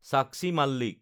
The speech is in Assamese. সাক্ষী মালিক